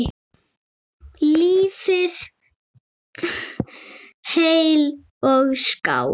Lifið heil og skál!